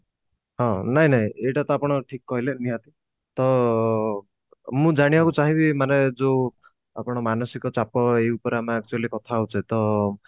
ହଁ ନାଇଁ ନାଇଁ ଏଇଟା ତ ଆପଣ ଠିକ କହିଲେ ନିହାତି ତ ମୁଁ ଜାଣିବାକୁ ଚାହିଁ ବି ମାନେ ଯୋଉ ଆପଣ ମାନସିକ ଚାପ ଏଇ ଉପରେ ଆମେ actually କଥା ହଉଛେ ତ